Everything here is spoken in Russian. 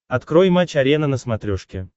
открой матч арена на смотрешке